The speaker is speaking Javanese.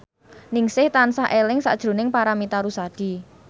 Ningsih tansah eling sakjroning Paramitha Rusady